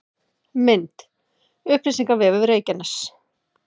Mynd: Upplýsingavefur Reykjaness